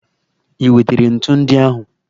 I wetere ntu ndị ahụ?